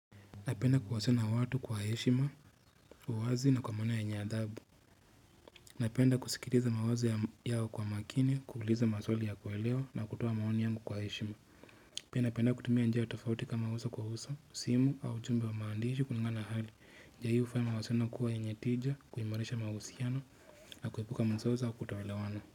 Napenda kuwasena watu kwa heshima, uwazi na kwa mwana yenye adabu. Napenda kusikiliza mawazo yao kwa makini, kuuliza maswali ya kuelewa na kutoa maoni yangu kwa heshima. Napenda kutumia njia tofauti kama huso kwa huso, simu au chumbe wa maandishi kulingana hali. Njia hii ufaya mawasiliano kuwa yenye tija, kuimarisha mahusiano, na kuepuka masausa au kutoelewana.